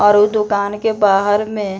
और ऊ दुकान के बाहर में --